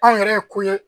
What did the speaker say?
Anw yɛrɛ ye ko ye